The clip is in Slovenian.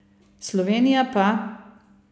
Slovenija pa ...